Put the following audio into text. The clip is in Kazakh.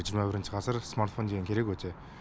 жиырма бірінші ғасыр смартфон деген керек өте